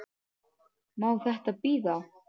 Má þetta bíða?